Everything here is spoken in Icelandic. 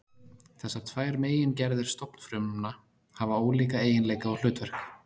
Þessar tvær megingerðir stofnfrumna hafa ólíka eiginleika og hlutverk.